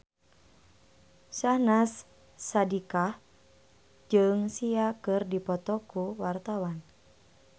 Syahnaz Sadiqah jeung Sia keur dipoto ku wartawan